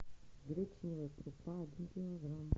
гречневая крупа один килограмм